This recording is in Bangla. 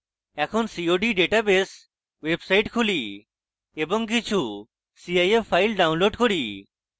এখন cod ডাটাবেস website খুলি এবং কিছু cif files download করি